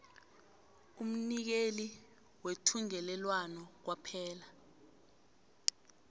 umnikeli wethungelelwano kwaphela